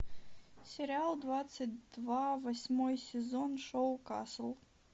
сериал двадцать два восьмой сезон шоу касл